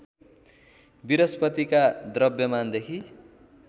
बृहस्पतिका द्रव्यमानदेखि